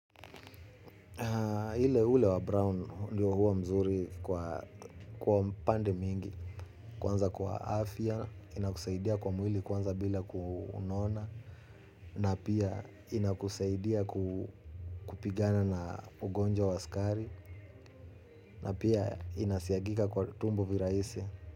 Ile ule wa Brown ndiyo huwa mzuri kwa pande mingi. Kwanza kwa afya, inakusaidia kwa mwili kwanza bila kunona. Na pia inakusaidia kupigana na ugonjwa wa skari. Na pia inasiagika kwa tumbo viraisi.